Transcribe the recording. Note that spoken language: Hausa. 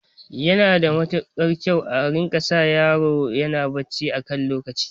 Yana da kyau a rika sa yaro yana barci a kan lokaci